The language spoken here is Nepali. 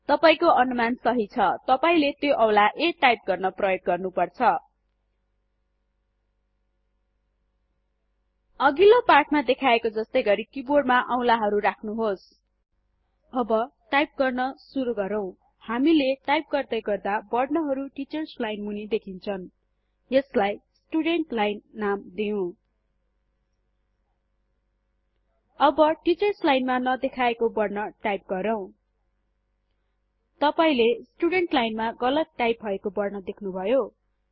तपाइको अनुमान सहि छ तपाईले त्यो औंला a टाइप गर्न प्रयोग गर्नु पर्छ अघिल्लो पाठमा देखाएको जस्तै गरि किबोर्डमा औंलाहरू राख्नुहोस् अब टाइप गर्न सुरु गरौँ हामीले टाइप गर्दै गर्दा वर्णहरु टिचर्स लाइन मुनि देखिन्छन् यसलाई स्टुडेन्ट्स् लाईन नाम दिऊँ अब टिचर्स लाइनमा नदेखाएको वर्ण टाइप गरौँ तपाईले स्टुडेन्ट्स लाइनमा गलत टाइप भएको वर्ण देख्नुभयो160